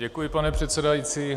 Děkuji, pane předsedající.